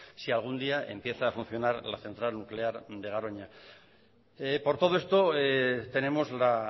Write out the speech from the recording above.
si algún día empieza a funcionar la central nuclear de garoña por todo esto tenemos la